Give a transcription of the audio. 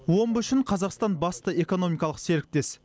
омбы үшін қазақстан басты экономикалық серіктес